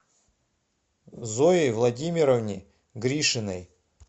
зое владимировне гришиной